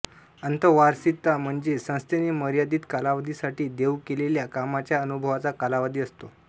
अंतर्वासिता म्हणजे संस्थेने मर्यादित कालावधीसाठी देउ केलेल्या कामाच्या अनुभवाचा कालावधी असतो